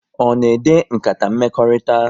Ọ na ede nkata mmekọrịta?